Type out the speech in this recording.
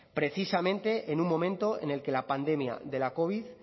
precisamente en un momento en el que la pandemia de la covid